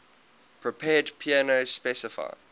prepared piano specify